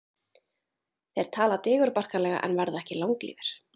Þeir tala digurbarkalega en verða ekki langlífir.